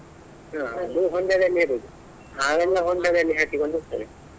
ಹಾ ಹೊಂಡದಲ್ಲಿ ಇರುದು ಹಾವೆಲ್ಲ ಹೊಂಡದಲ್ಲಿ ಹಾಕಿಕೊಂಡಿರ್ತದೆ.